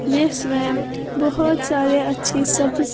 जिसमें बहुत सारे अच्छी सब्ज --